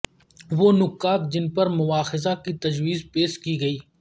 وہ نکات جن پر مواخذہ کی تجویز پیش کی گئی